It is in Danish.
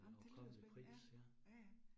Ej, men det lyder spændende. Ja, ja ja